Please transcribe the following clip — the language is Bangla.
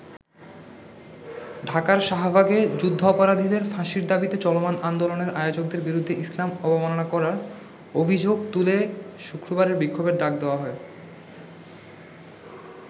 ঢাকার শাহবাগে যুদ্ধাপরাধীদের ফাঁসির দাবীতে চলমান আন্দোলনের আয়োজকদের বিরুদ্ধে ইসলাম অবমানান করার অভিযোগ তুলে শুক্রবারের বিক্ষোভের ডাক দেওয়া হয়।